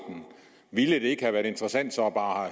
ville det ikke have været interessant så bare at